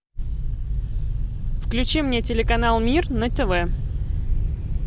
включи мне телеканал мир на тв